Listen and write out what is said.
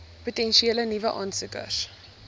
potensiële nuwe aansoekers